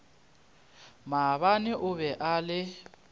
maabane o be a le